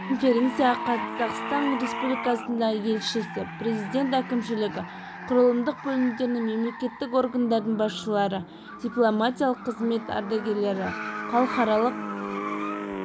конференцияға қазақстан республикасындағы елшісі президент әкімшілігі құрылымдық бөлімдерінің мемлекеттік органдардың басшылары дипломатиялық қызмет ардагерлері халықаралық